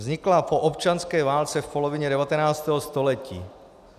Vznikla po občanské válce v polovině 19. století.